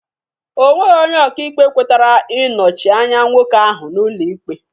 Ọ nweghị onye ọkaikpe kwetara ị nọchi anya nwoke ahụ n'ụlọ ikpe